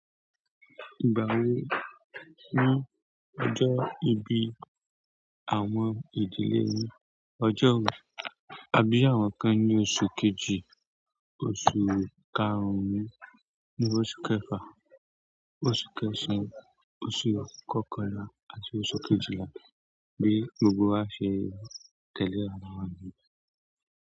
Ìgbà wo ni ọjọ́ ìbí àwọn ìdílé yín, ọjọ́ wo? A bí àwọn kan ní oṣù kejì, oṣù karùn-ún, ní oṣù kẹfà, oṣù kẹsàn-án, oṣù kọkànlá àti oṣù kejìlá bí gbogbo a ṣe tẹ̀lé ara wa ní un.